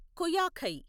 కుయాఖై